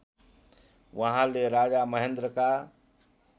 उहाँले राजा महेन्द्रका